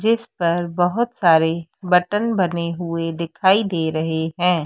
जिस पर बहोत सारे बटन बने हुए दिखाई दे रहे हैं।